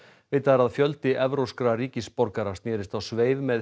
vitað er að fjöldi evrópskra ríkisborgara snérist á sveif með